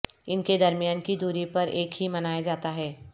ان کے درمیان کی دوری پر ایک ہی منایا جاتا ہے